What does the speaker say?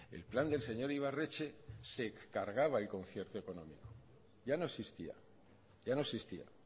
el plan del señor ibarretxe se cargaba el concierto económico ya no existía ya no existía